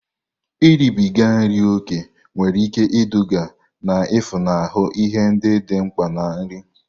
Iribiga nri ókè nwere ike iduga na-efunahụ ihe ndị dị mkpa na nri.